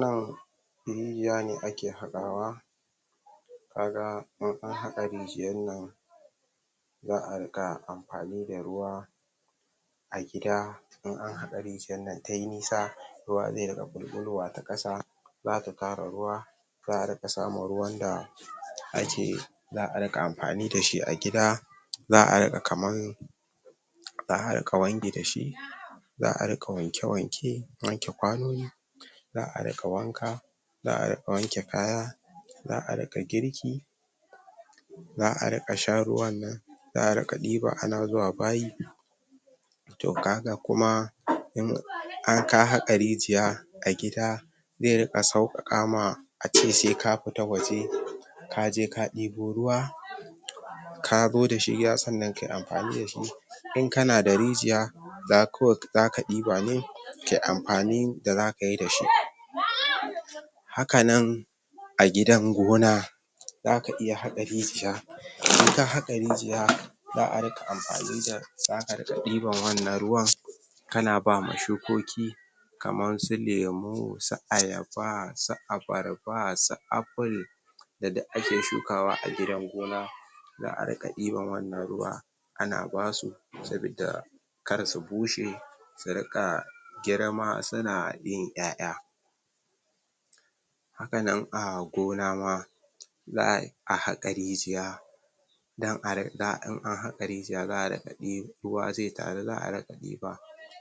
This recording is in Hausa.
nan rijiya ne ake haƙawa kaga in anhaka rijiyar nan za a riinƙa amfani da ruwa a gida in anhaƙa rijiyar nan tayi nisa ruwa zai riƙa ɓulɓulowa ta kasa zaka kare ruwa za a riƙa samun ruwan da ake za a riƙa amfani dashi gida za a riƙa kaman za a riƙa wanki dashi za a riƙa wanke wanke wanke ƙwanoni za a riƙa wanka za a riga wanke kaya za a riƙa girki za a riƙa shan ruwan nan za a ɗiba ana zuwa bayi to kaga kuma inka haƙa rijiya a gida zai riƙa sauƙaƙa ma ace sai ka fita waje kaje ka ɗebo ruwa kazo dashi gida sannan kayi amfani dashi inka na da rijiya za kawai zaka ɗibane kayi amfanin da zakayi dashi hakanan a gidan gona zaka iya haƙa rijiya inka haƙa rijiya za a riƙa amfani za a riƙa ɗiban wannan ruwan kana bama shukoki kamar su lemo, su ayaba su abarba, su Apple da duk ake shukawa a gidan gona za a riƙa ɗiban wannnan ruwan ana basu sabidda karsu bushe su riƙa girma suna yin ƴa'ƴa hakanan a gona ma za a haƙa rijiya ma in anhaƙa rijiya ruwa zai taru za a riƙa diba